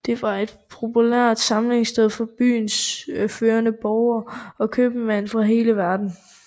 Det var et populært samlingssted for byens førende borgere og købmænd fra hele verden